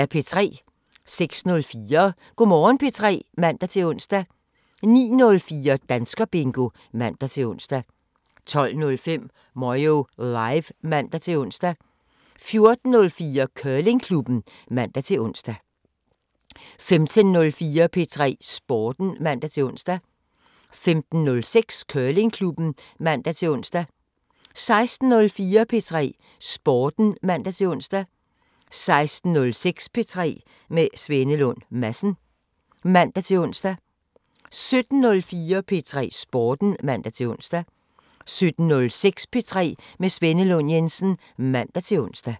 06:04: Go' Morgen P3 (man-ons) 09:04: Danskerbingo (man-ons) 12:05: Moyo Live (man-ons) 14:04: Curlingklubben (man-ons) 15:04: P3 Sporten (man-ons) 15:06: Curlingklubben (man-ons) 16:04: P3 Sporten (man-ons) 16:06: P3 med Svenne Lund Jensen (man-ons) 17:04: P3 Sporten (man-ons) 17:06: P3 med Svenne Lund Jensen (man-ons)